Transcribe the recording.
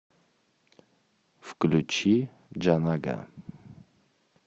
включи джанага